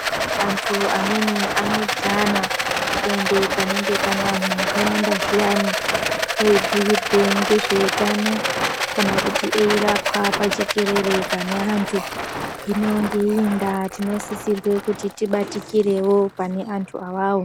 Anthu amweni anodhana kuende panenge pane anhu akawanda zviyani eibhuyirwe ngezveutano kana kuti eirapwa pajekerere pane anthu hino ngeii ndaa tinosisirwe kuti tibatikirewo pane anthu awawo.